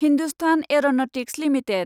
Hindustan Aeronautics limited